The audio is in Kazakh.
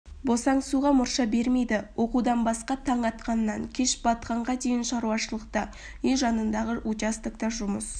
босаңсуға мұрша бермейді оқудан басқа таң атқаннан кеш батқанға дейін шаруашылықта үй жанындағы участокта жұмыс